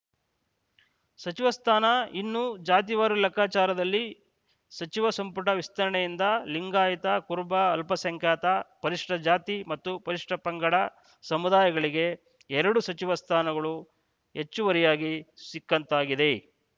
ಸಚಿವ ಸ್ಥಾನ ಇನ್ನು ಜಾತಿವಾರು ಲೆಕ್ಕಾಚಾರದಲ್ಲಿ ಸಚಿವ ಸಂಪುಟ ವಿಸ್ತರಣೆಯಿಂದ ಲಿಂಗಾಯತ ಕುರುಬ ಅಲ್ಪಸಂಖ್ಯಾತ ಪರಿಶಿಷ್ಟಜಾತಿ ಮತ್ತು ಪರಿಶಿಷ್ಟಪಂಗಡ ಸಮುದಾಯಗಳಿಗೆ ಎರಡು ಸಚಿವ ಸ್ಥಾನಗಳು ಹೆಚ್ಚುವರಿಯಾಗಿ ಸಿಕ್ಕಂತಾಗಿದೆ